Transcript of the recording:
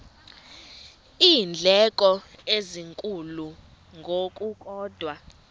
iindleko ezinkulu ngokukodwa